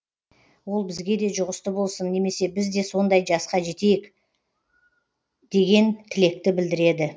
ол бізге де жұғысты болсын немесе біз де сондай жасқа жете берейік деген тілекті білдіреді